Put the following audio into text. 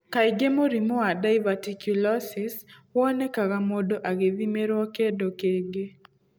Kaingĩ mũrimũ wa diverticulosis wonekanaga mũndũ agĩthimĩrwo kĩndũ kĩngĩ.